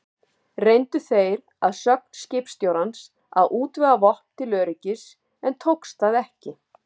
Reyndu þeir að sögn skipstjórans að útvega vopn til öryggis, en tókst það ekki.